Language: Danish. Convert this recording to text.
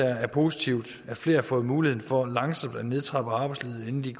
er positivt at flere har fået muligheden for langsomt at nedtrappe arbejdslivet inden de